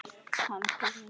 Hann kom í nótt.